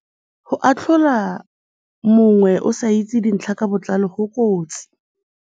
Go atlhola mongwe o sa itse dintlha ka botlalo go kotsi.